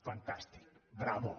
fantàstic bravo